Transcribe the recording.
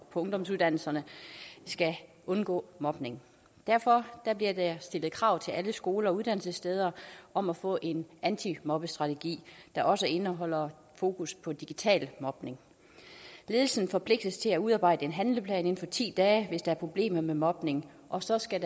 på ungdomsuddannelserne skal undgå mobning derfor bliver der stillet krav til alle skoler og uddannelsessteder om at få en antimobbestrategi der også indeholder fokus på digital mobning ledelsen forpligtes til at udarbejde en handleplan inden for ti dage hvis der er problemer med mobning og så skal